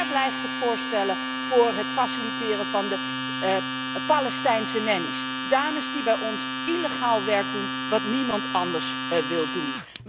Waar blijven de voorstellen voor het faciliteren van de Palestijnse nannies dames die bij ons illegaal werk doen wat niemand anders wil doen.